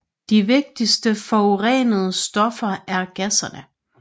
De vigtigste forurenende stoffer er gasserne